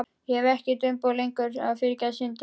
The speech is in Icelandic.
Ég hef ekkert umboð lengur til að fyrirgefa syndir.